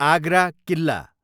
Agra Killa